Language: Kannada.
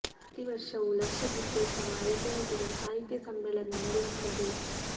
ಪ್ರತಿ ವರ್ಷವೂ ಲಕ್ಷ ದೀಪೋತ್ಸವ ಐದನೇ ದಿನ ಸಾಹಿತ್ಯ ಸಮ್ಮೇಳನ ನಡೆಯುತ್ತಾದೆ